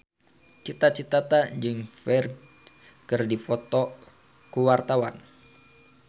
Cita Citata jeung Ferdge keur dipoto ku wartawan